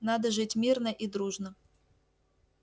надо жить мирно и дружно